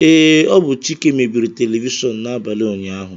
Ee, ọ bụ Chike mebiri telivishọn n'abalị ụnyaahụ